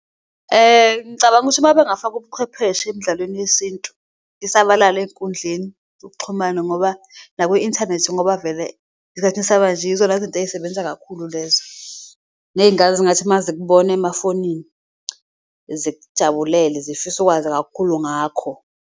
Ngicabanga ukuthi mabengafaka ubuqhwepheshe emdlalweni yesintu isabalale ey'nkundleni zokuxhumana ngoba naku-inthanethi ngoba vele esikhathini samanje yizona zinto eyisebenza kakhulu lezo. Ney'ngane zingathi mazikubona emafonini, zikujabulele zifise ukwazi kakhulu ngakho.